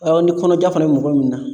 ni kɔnɔja fana mɔgɔ min na